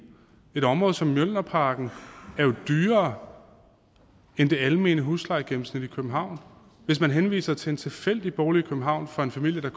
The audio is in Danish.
et område som mjølnerparken er jo dyrere end det almene huslejegennemsnit i københavn hvis man henviser til en tilfældig bolig i københavn for en familie